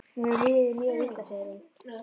Mér hefur liðið mjög illa, segir hún.